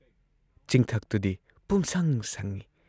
ꯆꯤꯡꯊꯛꯇꯨꯗꯤ ꯄꯨꯝꯁꯪ ꯁꯪꯏ ꯫